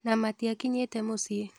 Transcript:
Na matiakinyĩte muciĩ.